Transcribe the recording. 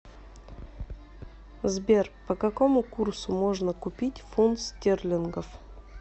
сбер по какому курсу можно купить фунт стерлингов